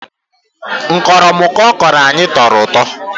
Nkọmịrịkọ ọ kọrọ anyị tọrọ ụtọ